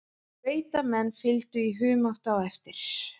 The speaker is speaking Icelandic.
Sveitamenn fylgdu í humátt á eftir.